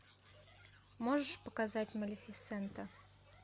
можешь показать малефисента